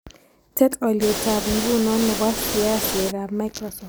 Tet alyetap nguno ne po sheaisiekap microsoft